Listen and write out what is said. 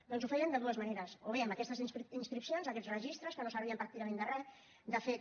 doncs ho feien de dues maneres o bé amb aquestes inscripcions aquests registres que no servien pràcticament de re de fet